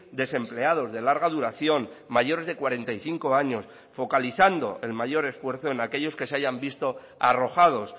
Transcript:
desempleados de larga duración mayores de cuarenta y cinco años focalizando el mayor esfuerzo en aquellos que se hayan visto arrojados